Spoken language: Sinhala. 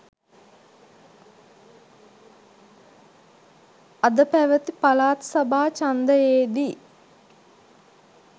අද පැවති පළාත් සභා ඡන්දයේ දී